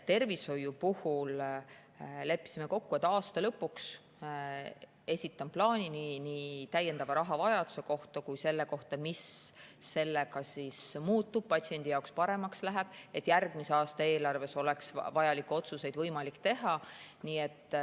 Tervishoiu puhul leppisime kokku, et aasta lõpuks esitan plaani nii täiendava rahavajaduse kohta kui ka selle kohta, mis sellega siis muutub, mis patsiendi jaoks paremaks läheb, et järgmise aasta eelarves oleks võimalik vajalikke otsuseid teha.